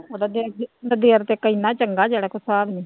ਉਹਦਾ ਇੱਕ ਇੰਨਾ ਚੰਗਾ ਜਿਹੜਾ ਕਿ ਹਿਸਾਬ ਨੀ।